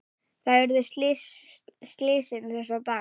Þar urðu slysin þessa daga.